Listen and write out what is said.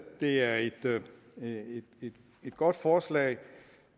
det er et godt forslag